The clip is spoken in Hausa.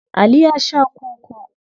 Ali ya sha koko.